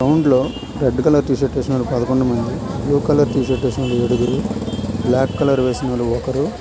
గ్రౌండ్లో లో red colour T shirt వేసిన వాల్లు పదకొండు మంది బ్లూ కలర్ వేసిన వాల్లు ఏడుగురు బ్లాక్ కలర్ వేసిన వాల్లు ఒకరు.